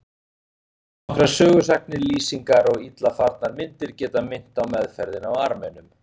Einungis nokkrar sögusagnir, lýsingar og illa farnar myndir geta minnt á meðferðina á Armenum.